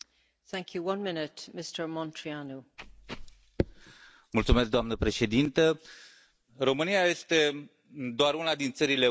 Doamnă președintă, România este doar una din țările Uniunii Europene din care sunt transportate animalele vii către statele terțe.